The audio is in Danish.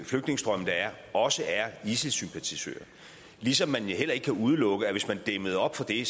flygtningestrømme der er også er isis sympatisører ligesom man heller ikke kan udelukke at hvis man dæmmede op for det